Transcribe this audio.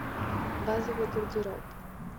базовый гардероб